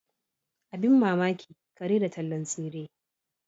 Abin mamaki kare da tallan tsire.